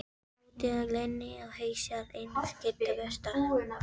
Bensínstöðin er glæný og hýsir einnig skyndibitastað.